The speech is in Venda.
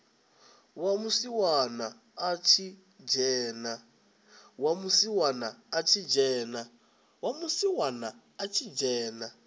wa musiwana a tshi dzhena